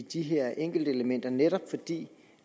de her enkeltelementer netop fordi